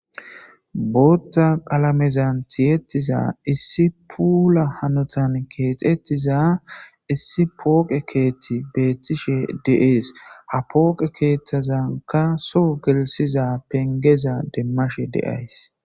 bootta qalamezan tiyettiza issi puula hanotan keexettiza issi pooqe keethti beettishe de7ees ha pooqe keethtazanka so gelisiza pengeza demmashe de7ays